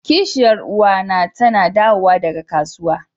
kishiyar uwa na tana dawowa daga kasuwa.